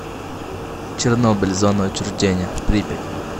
чернобыль зона отчуждения припять